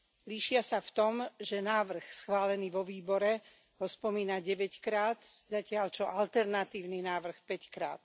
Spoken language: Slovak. Líšia sa v tom, že návrh schválený vo výbore ho spomína deväťkrát, zatiaľ čo alternatívny návrh päťkrát.